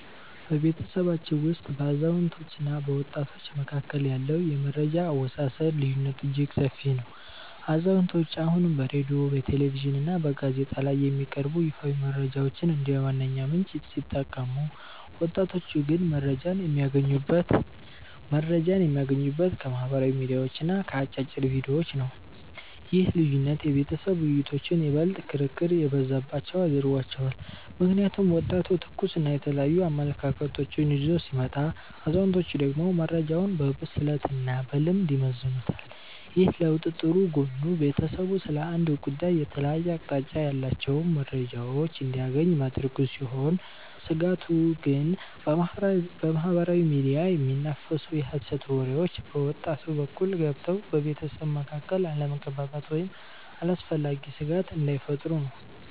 በቤተሰባችን ውስጥ በአዛውንቶችና በወጣቶች መካከል ያለው የመረጃ አወሳሰድ ልዩነት እጅግ ሰፊ ነው። አዛውንቶቹ አሁንም በሬድዮ፣ በቴሌቪዥንና በጋዜጣ ላይ የሚቀርቡ ይፋዊ መረጃዎችን እንደ ዋነኛ ምንጭ ሲጠቀሙ፣ ወጣቶቹ ግን መረጃን የሚያገኙት ከማኅበራዊ ሚዲያዎችና ከአጫጭር ቪዲዮዎች ነው። ይህ ልዩነት የቤተሰብ ውይይቶችን ይበልጥ ክርክር የበዛባቸው አድርጓቸዋል። ምክንያቱም ወጣቱ ትኩስና የተለያዩ አመለካከቶችን ይዞ ሲመጣ፣ አዛውንቶቹ ደግሞ መረጃውን በብስለትና በልምድ ይመዝኑታል። ይህ ለውጥ ጥሩ ጎኑ ቤተሰቡ ስለ አንድ ጉዳይ የተለያየ አቅጣጫ ያላቸውን መረጃዎች እንዲያገኝ ማድረጉ ሲሆን፤ ስጋቱ ግን በማኅበራዊ ሚዲያ የሚናፈሱ የሐሰት ወሬዎች በወጣቱ በኩል ገብተው በቤተሰቡ መካከል አለመግባባት ወይም አላስፈላጊ ስጋት እንዳይፈጥሩ ነው።